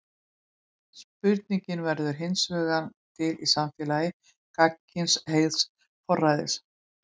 Spurningin verður hinsvegar til í samfélagi gagnkynhneigðs forræðis.